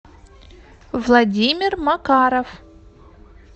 владимир макаров